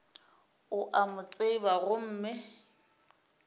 o a mo tseba gomme